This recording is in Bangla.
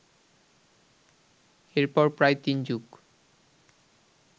এরপর প্রায় তিন যুগ